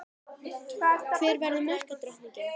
Hver verður markadrottning?